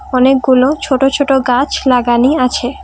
অনেকগুলো ছোট ছোট গাছ লাগানি আছে ।